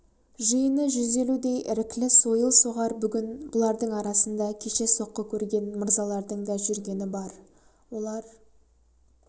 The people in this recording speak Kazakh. жиыны жүз елудей іріклі сойыл-соғар бүгін бұлардың арасында кеше соққы көрген мырзалардың да жүргені бар олар